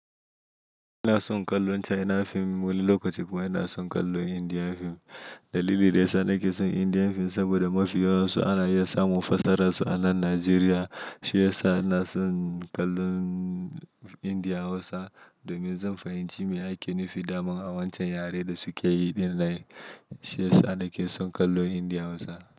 Ina son kallon China film, wani lokaci kuma ina son kallon Indian film. Dalili da yasa nake son Indian film saboda mafi yawansu an iya samun fassararsu a nan Najeriya. Shi yasa ina son kallon Indian Hausa domin zan fahimci me ake nufi daman a wancan yare da suke yi. Shi yasa nake son kallon Indian Hausa.